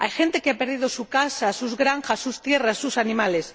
Hay gente que ha perdido su casa, sus granjas, sus tierras, sus animales.